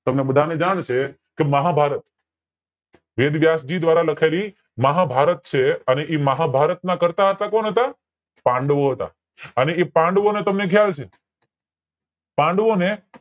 તમને બધા ને જાણ છે કે મહાભારત દ્વારા લખાયેલી મહાભારત છે અને એ મહાભારત ના કર્તાહતા કોણ હતા પાંડવો હતા અને પાંડવો ને તમે ખ્યાલ છે પાંડવોને